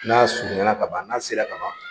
N'a surunyana kaban n'a sera kaban